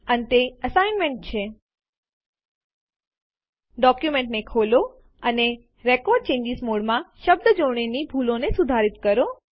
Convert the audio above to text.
અંતે અસાઇનમેંટ છે ડોક્યુમેન્ટને ખોલો અને રેકોર્ડ ચેન્જીસ મોડમાં શબ્દજોડણીની ભૂલોને સુધારીત કરો